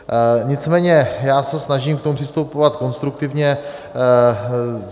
Nicméně já se snažím k tomu přistupovat konstruktivně.